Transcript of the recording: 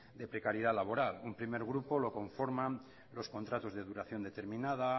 de precariedad laboral un primer grupo lo conforman los contratos de duración determinada